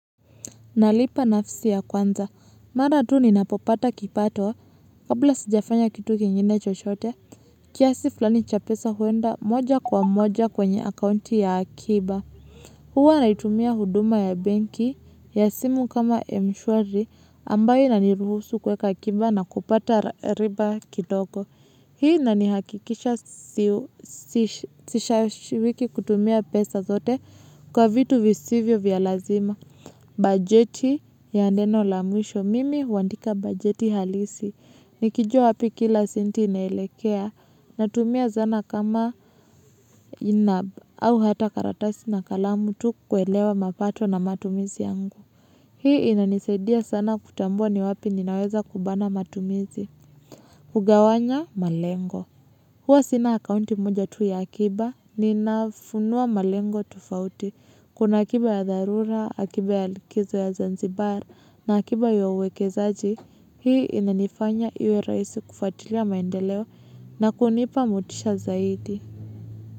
Nalipa nafsi ya kwanza, mara tu ninapopata kipato, kabla sijafanya kitu kingine chochote, kiasi fulani cha pesa huenda moja kwa moja kwenye akaunti ya akiba. Huwa naitumia huduma ya banki, ya simu kama mshwari, ambayo inaniruhusu kuweka akiba na kupata riba kidogo. Hii inanihakikisha sishashiwiki kutumia pesa zote kwa vitu visivyo vya lazima. Bageti ya neno la mwisho, mimi huandika bageti halisi. Nikijua wapi kila senti inaelekea natumia zana kama inab au hata karatasi na kalamu tu kuelewa mapato na matumizi yangu. Hii inanisaidia sana kutambua ni wapi ninaweza kubana matumizi. Kugawanya malengo. Huwa sina akaunti moja tu ya akiba, nina funuwa malengo tofauti. Kuna akiba ya dharura, akiba ya likizo ya zanzibar, na akiba ya uwekezaji. Hii inanifanya iwe rahisiu kufwatilia maendeleo na kunipa motisha zaidi.